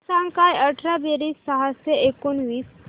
सांग काय अठरा बेरीज सहाशे एकोणीस